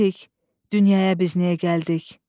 Bilirik, dünyaya biz niyə gəldik.